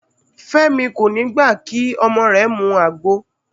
Fẹ́mi kò ní gbà kí ọmọ rẹ̀ mu àgbo